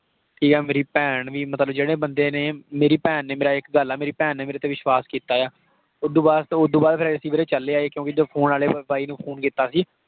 ਠੀਕ ਆ ਮੇਰੀ ਭੈਣ ਵੀ ਮਤਲਬ ਜਿਹੜੇ ਬੰਦੇ ਨੇ, ਮੇਰੀ ਭੈਣ ਨੇ ਇੱਕ ਗੱਲ ਆ ਮੇਰੀ ਭੈਣ ਨੇ ਮੇਰੇ ਤੇ ਵਿਸ਼ਵਾਸ਼ ਕੀਤਾ ਆ। ਓਦੋਂ ਬਾਅਦ, ਤੇ ਓਦੋਂ ਬਾਅਦ ਅਸੀਂ ਵੀਰੇ ਚੱਲੇ ਆਏ ਕਿਉਂਕਿ ਜੋ phone ਵਾਲੇ ਬਾਈ ਨੂੰ phone ਕੀਤਾ ਸੀ,